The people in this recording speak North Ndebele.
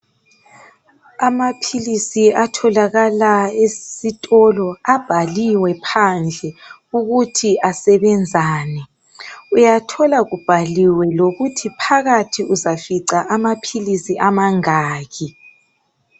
Amaphilisi atholakala esitolo abhaliwe phandle ukuthi asebenzani uyathola kubhaliwe lokuthi phakathi uzafica amaphilisi amangaki.